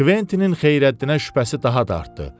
Kventinin Xeyrəddinə şübhəsi daha da artdı.